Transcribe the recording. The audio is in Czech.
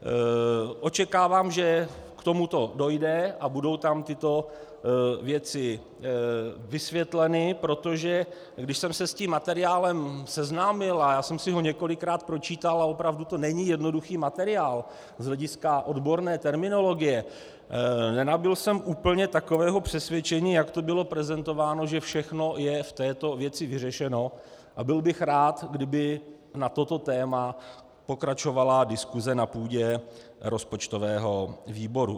Očekávám, že k tomuto dojde a budou tam tyto věci vysvětleny, protože když jsem se s tím materiálem seznámil, a já jsem si ho několikrát pročítal a opravdu to není jednoduchý materiál z hlediska odborné terminologie, nenabyl jsem úplně takového přesvědčení, jak to bylo prezentováno, že všechno je v této věci vyřešeno, a byl bych rád, kdyby na toto téma pokračovala diskuse na půdě rozpočtového výboru.